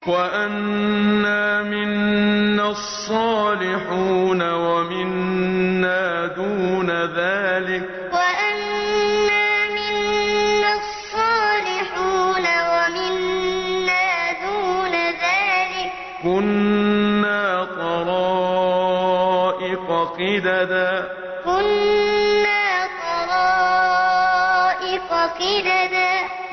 وَأَنَّا مِنَّا الصَّالِحُونَ وَمِنَّا دُونَ ذَٰلِكَ ۖ كُنَّا طَرَائِقَ قِدَدًا وَأَنَّا مِنَّا الصَّالِحُونَ وَمِنَّا دُونَ ذَٰلِكَ ۖ كُنَّا طَرَائِقَ قِدَدًا